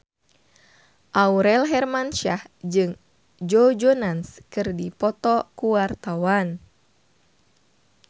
Aurel Hermansyah jeung Joe Jonas keur dipoto ku wartawan